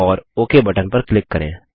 और okay button पर click करें